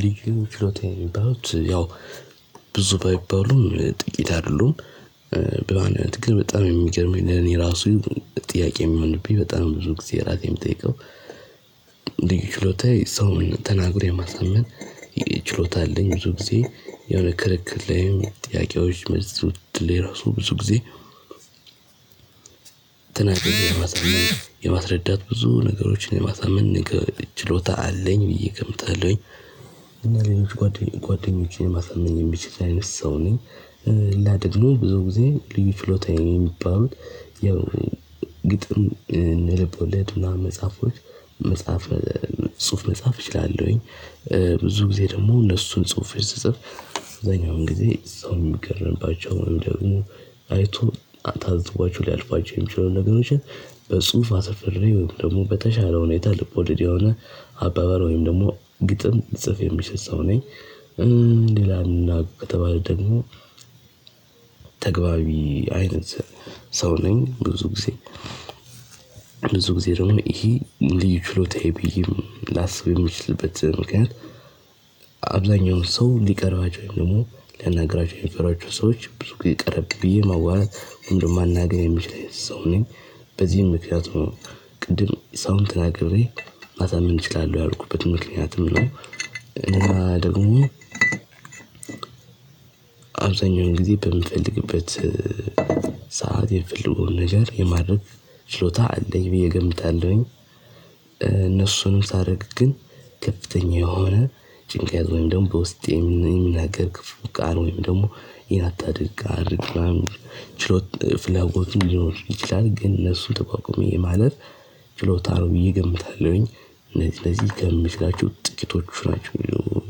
ልዩ ችሎታ ያመጣዉት፤ ያው ብዙ ባይባሉ ጥቂት አሉ፤ በማንነት ግን በጣም የሚገርመኝ ለኔ ራሱ ጥያቄ የሚሆንብኝ በጣም ብዙ ጊዜ ራሴን የምጠይቀው፤ ልዩ ችሎታዬ ሰውን ተናግሮ የማሳመን ችሎታ አለኝ፤ ብዙ ጊዜ የሆነ ክርክር ላይም፣ ጥያቄዎች፣ መልስ ምት ላይ፣ ራሱ ብዙ ጊዜ ተናግሮ የማሳመን፤ የማስረዳት ብዙ ነገሮችን የማሳምን ችሎታ አለኝ ብዬ እገምታለሁኝ፤ እና ሌሎች ጓደኞቼን ማሰመኝ የሚችል አይነት ሰው ነኝ፤ ሌላ ደግሞ ብዙ ጊዜ ልዩ ችሎታዬ የሚባሉት ያው ግጥም፣ እነ ልብ ወለድና መጽሐፎች፣ መጽሐፍ ጽሁፍ መጻፍ እችላለሁኝ፤ ብዙ ጊዜ ደግሞ እነሱን ጽሁፎች ስጽፍ፤ አብዛኛውን ጊዜ ሰው የሚገርምባቸው ወንም ደግሞ አይቶ ታዝቧሁ ሊያልፏቸው የሚችለውን ነገሮችን በጽሁፍ አስፍሬ ወይም ደግሞ በተሻለ ሁኔታ ልቦደድ የሆነ አባባል ወይም ደግሞ ግጥም ልጽፍ የምችል ሰው ነኝ፤ ሌላና ከተባለ ደግሞ ተግባቢ አይነት ሰው ነኝ ብዙ ጊዜ። ብዙ ጊዜ ደግሞ ይሄ ልዩ ችሎታዬ ብዬ ላስብ የምችልበት ምክንያት፤ እብዛኛውን ሰው ሊቀርባቸው ወይም ደግሞ ሊያናግሯቸው የሚፈሯቸዉን ሰዎች፤ ብዙ ጊዜ ጠለቅ ብዬ ማዋራት ወይንም ደሞ ማናገር የምችል አይነት ሰው ነኝ፤ በዚህም ምክኒያት ነው ቅድም ሰውን ተናግሬ ማሳመን እችላለሁ ያልኩበት ምክንያትም ነው፤ እና ደግሞ፤ አብዛኛውን ጊዜ በምፈልግበት ሰዓት የምፈልገውን ነገር የማድርግ ሽሎታ አለኝ ብዬ እገምታለሁኝ፤ እነሱንም ሳረግ ግን ከፍተኛ የሆነ ጭንቅ ያዘውን ደግሞ በውስጤም የምናገር ክፉ ቃል ወይም ደግሞ ይሄን አታድግ፣ አድርግ፣ ምናምን ችሎት ፍላጎትም ሊኖር ይችላል፤ ግን እነሱን ተቋቁሜ ማለፍ ችሎታ ነው ብዬ እገምታለሁኝ፤ እነዚህ እዚህ ከምችላቸው ጥቂቶቹ ናቸው ነው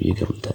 ብዬ እገምታለሁ፤